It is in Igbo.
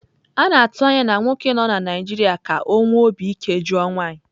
A na-atụ anya na nwoke nọ na Naịjirịa ka ọ nwee obi ike jụọ nwanyị.